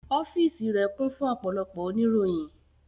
Ọ́fíìsì rẹ̀ kún fún ọ̀pọ̀lọpọ̀ oníròyìn